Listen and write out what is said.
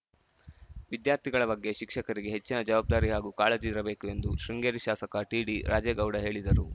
ವಿದ್ಯಾರ್ಥಿಗಳ ಬಗ್ಗೆ ಶಿಕ್ಷಕರಿಗೆ ಹೆಚ್ಚಿನ ಜವಾಬ್ದಾರಿ ಹಾಗೂ ಕಾಳಜಿ ಇರಬೇಕು ಎಂದು ಶೃಂಗೇರಿ ಶಾಸಕ ಟಿಡಿರಾಜೇಗೌಡ ಹೇಳಿದರು